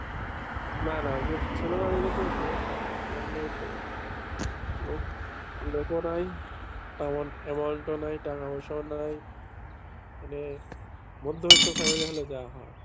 না না ছিল না বলেই তো সমস্যা লোক নেই তো, লোক লোকও নাই তেমন amount ও নাই, টাকা পয়সাও নাই, মানে মধ্যবিত্ত family হলে যা হয়।